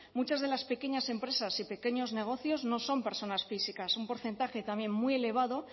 muchas de las pequeñas empresas y pequeños negocios no son personas físicas un porcentaje también muy elevado